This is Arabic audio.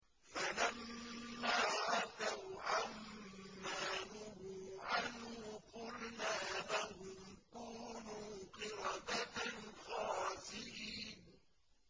فَلَمَّا عَتَوْا عَن مَّا نُهُوا عَنْهُ قُلْنَا لَهُمْ كُونُوا قِرَدَةً خَاسِئِينَ